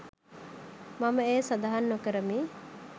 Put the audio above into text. මම එය සඳහන් නොකරමි